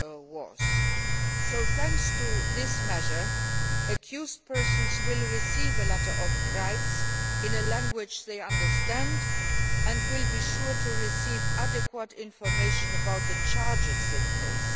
was. With this measure, accused persons will receive a Letter of Rights, in a language they understand, and will be guaranteed to receive adequate information about the charges they face.